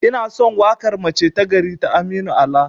Inason waƙar 'mace ta gari' ta aminu ala